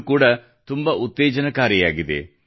ಇದು ಕೂಡಾ ತುಂಬಾ ಉತ್ತೇಜನಕಾರಿಯಾಗಿದೆ